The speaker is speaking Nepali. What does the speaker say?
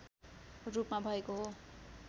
रूपमा भएको हो